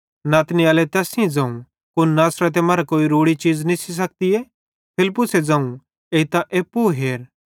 नतनएले तैस सेइं ज़ोवं कुन नासरते मरां कोई रोड़ी चीज़ निस्सी सकतीए फिलिप्पुसे ज़ोवं एइतां एप्पू हेर त नतनएल फिलिप्पुसे सेइं साथी च़लो